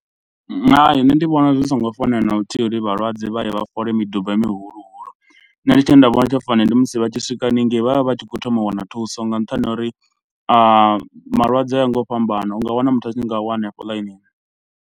Hai nṋe ndi vhona zwi songo fanela na luthihi uri vhalwadze vha ye vha fole miduba mihulu hulu. Nṋe tshine nda vhona tsho fanela ndi musi vha tshi swika haningei vhavha vhatshi kho thoma u wana thuso nga nṱhani ha uri malwadze o yaho nga u fhambana, unga wana muthu a tshi nga wa hanefho ḽainini.